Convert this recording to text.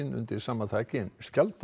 undir sama þaki en